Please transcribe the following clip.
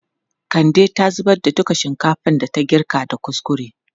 Kande ta zubar da duka shinkafan da ta girka da kuskure.